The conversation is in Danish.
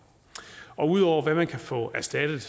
ud over hvad man kan få erstattet